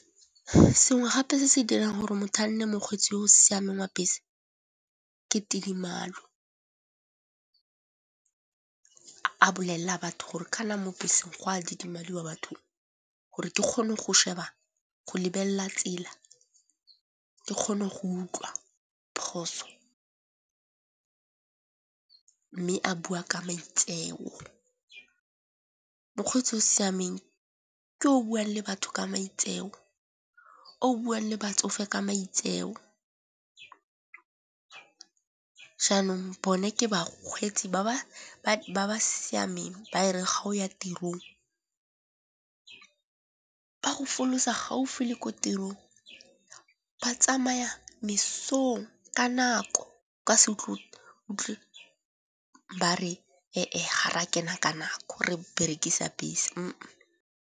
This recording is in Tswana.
Sengwe gape se se dirang gore motho a nne mokgweetsi yo o siameng wa bese ke tidimalo. A bolella batho gore kana mo beseng go a didimaliwa bathong gore ke kgone go lebella tsela, ke kgone go utlwa phoso mme a bua ka maitseo. Mokgweetsi o siameng ke o buang le batho ka maitseo, o buang le batsofe ka maitseo. Jaanong bone ke bakgweetsi ba ba siameng ba e re ga o ya tirong ba go folosa gaufi le ko tirong, ba tsamaya mesong ka nako ka ba re ga ra kena ka nako re berekisa bese.